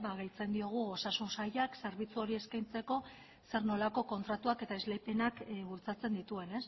gehitzen diogu osasun sailak zerbitzu hori eskaintzeko zer nolako kontratuak eta esleipenak bultzatzen dituen